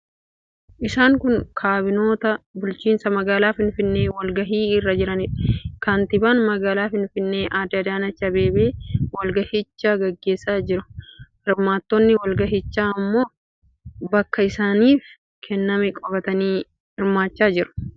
Isaan kun kaabinoota bulchiinsa magaalaa Finfinnee walgahii irra jiraniidha. Kantiibaan magaalaa Finfinnee Aadde Adaanech Abeebee walgahicha gaggeessaa jiru. Hirmaattonni walgahichaa immoo bakka isaaniif kenname qabatanii hirmaachaa jiru. Odeeffannoo kana kan qopheesse TV ETV'dha.